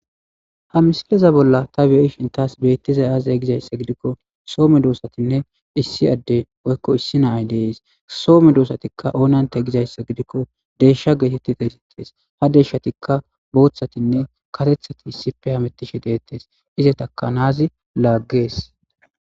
Ha misileza bolla ta bie ishin taas beettizay aazay gizayssa gidikko soome doosatinne issi adde oykko issi nay dees soome doosatikka oonante gizayssa gidikko deesha geetetti taesittees ha deshshatikka booththatinne katethati issipe hamettishe deettes izetaka naazi laaggees